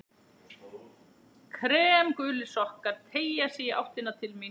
Kremgulir sokkar teygja sig í áttina til mín.